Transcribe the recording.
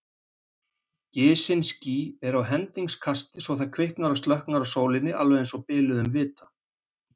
Gisin ský eru á hendingskasti svo það kviknar og slokknar á sólinni einsog biluðum vita.